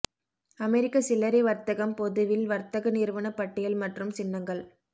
அமெரிக்க சில்லறை வர்த்தகம் பொதுவில் வர்த்தக நிறுவன பட்டியல் மற்றும் சின்னங்கள்